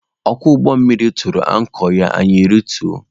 Ọkwọ ụgbọ mmiri anyị tụrụ ankọ ya anyị rituo.